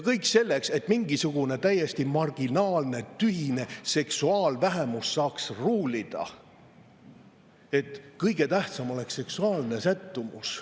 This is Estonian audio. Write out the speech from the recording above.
Kõik selleks, et mingisugune täiesti marginaalne, tühine seksuaalvähemus saaks ruulida, et kõige tähtsam oleks seksuaalne sättumus.